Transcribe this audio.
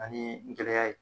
Ani gɛlɛya ye